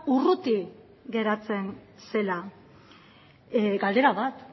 urruti geratzen zela galdera bat